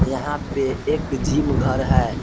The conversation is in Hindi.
यहां पे एक जिम घर है।